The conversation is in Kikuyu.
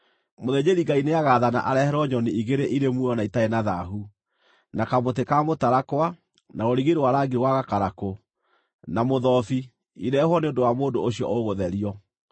mũthĩnjĩri-Ngai nĩagaathana areherwo nyoni igĩrĩ irĩ muoyo na itarĩ na thaahu, na kamũtĩ ka mũtarakwa, na rũrigi rwa rangi wa gakarakũ, na mũthobi irehwo nĩ ũndũ wa mũndũ ũcio ũgũtherio.